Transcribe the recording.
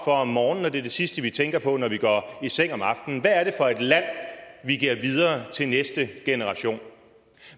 om morgenen og det er det sidste vi tænker på når vi går i seng om aftenen hvad er det for et land vi giver videre til næste generation